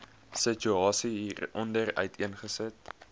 situasie hieronder uiteengesit